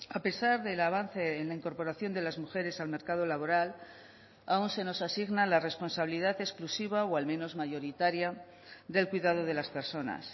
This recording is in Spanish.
a pesar del avance en la incorporación de las mujeres al mercado laboral aún se nos asigna la responsabilidad exclusiva o al menos mayoritaria del cuidado de las personas